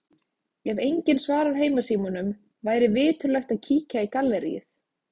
Ef enginn svarar heimasímanum væri viturlegt að kíkja í galleríið.